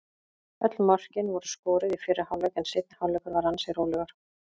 Öll mörkin voru skoruð í fyrri hálfleik en seinni hálfleikurinn var ansi rólegur.